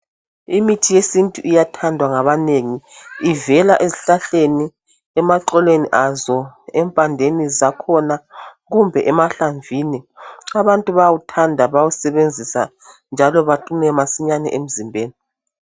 Imithi yesintu iyathandwa ngabanengi ivela ezihlahleni, emaxolweni azo empandeni zakhona kumbe emahlamvini. Abantu bawuthanda bawusebenzisa njalo baqine masinyane emzimbeni.